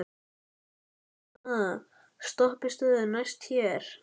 Petrún, hvaða stoppistöð er næst mér?